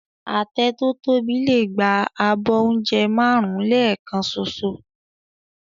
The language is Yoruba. Àtẹ tó tóbi lè gba abọ́ oúnjẹ márùn-ún lẹ́ẹ̀kan ṣoṣo